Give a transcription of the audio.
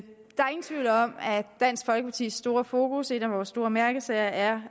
dansk folkepartis store fokus en af vore store mærkesager er